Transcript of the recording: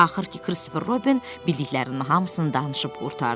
Axır ki, Kristofer Robin bildiklərinin hamısını danışıb qurtardı.